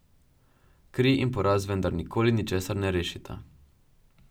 Kri in poraz vendar nikoli ničesar ne rešita.